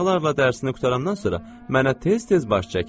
uşaqlarla dərsini qurtarandan sonra mənə tez-tez baş çək.